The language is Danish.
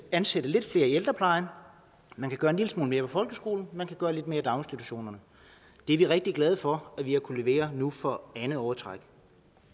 ansætte lidt flere i ældreplejen man kan gøre en lille smule mere for folkeskolen man kan gøre lidt mere i daginstitutionerne vi er rigtig glad for at vi har kunnet levere nu for andet år i træk